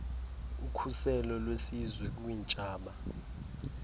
ukhuselo lwesizwe kwiintshaba